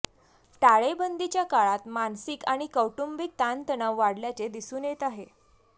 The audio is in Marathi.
टाळेबंदीच्या काळात मानसिक आणि कौटुंबिक ताणतणाव वाढल्याचे दिसून येत आहे